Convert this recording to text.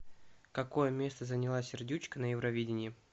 какое место заняла сердючка на евровидении